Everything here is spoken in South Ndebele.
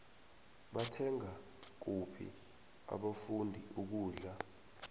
bathenga kuphi abafundi ukudla